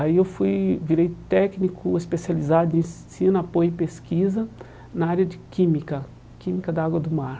Aí eu fui virei técnico especializado em ensino, apoio e pesquisa na área de química, química da água do mar.